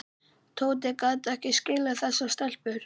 Tóti gat ekki skilið þessar stelpur.